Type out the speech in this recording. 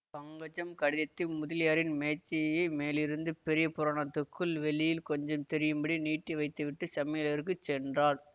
பங்கஜம் கடிதத்தை முதலியாரின் மேஜை மேலிருந்த பெரிய புராணத்துக்குள் வெளியில் கொஞ்சம் தெரியும்படி நீட்டி வைத்துவிட்டு சமையலறைக்குச் சென்றாள்